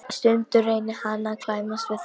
Stundum reynir hann að klæmast við þær.